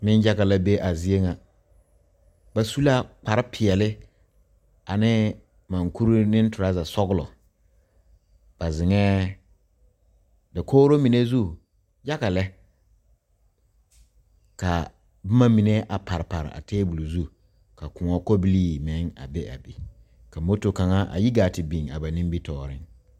Nenyaga la be a zie ŋa ba su la kparepeɛle ane monkure ne torɔzasɔglɔ ba zeŋɛɛ dakogro mine zu yaga lɛ ka boma mine a pare pare a tabol zu ka koɔ kɔbilii meŋ a be a be ka moto kaŋa a yi gaa te biŋ a ba nimitɔɔreŋ.